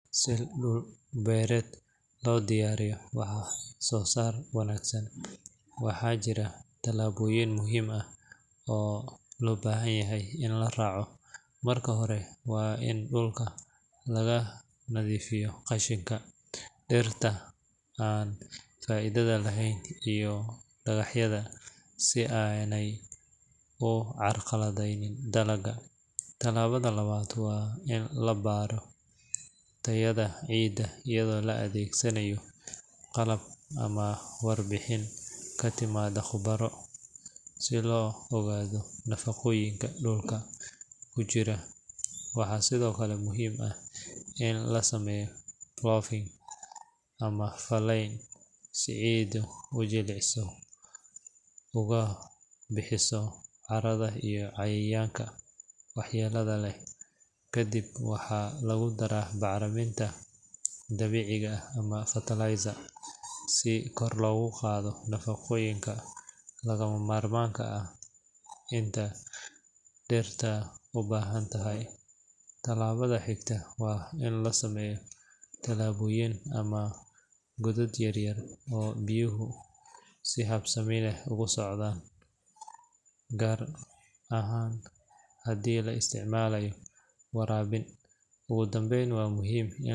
Si dhul beereed loogu diyaariyo wax-soo-saar wanaagsan, waxaa jira talaabooyin muhiim ah oo loo baahan yahay in la raaco. Marka hore, waa in dhulka laga nadiifiyaa qashinka, dhirta aan faa’iidada lahayn, iyo dhagaxyada si aanay u carqaladeyn dalagga. Talaabada labaad waa in la baaro tayada ciidda iyadoo la adeegsanayo qalab ama warbixin ka timaadda khubaro, si loo ogaado nafaqooyinka dhulka ku jira. Waxaa sidoo kale muhiim ah in la sameeyo ploughing ama falayn si ciiddu u jilciso ugana baxaan caarada iyo cayayaanka waxyeellada leh. Kadib, waxaa lagu daraa bacriminta dabiiciga ah ama fertilizer si kor loogu qaado nafaqooyinka lagama maarmaanka ah ee dhirta u baahan tahay. Talaabada xigta waa in la sameeyo tuubooyin ama godad yar-yar oo biyuhu si habsami leh ugu socdaan, gaar ahaan haddii la isticmaalayo waraabin. Ugu dambayn, waa muhiim in.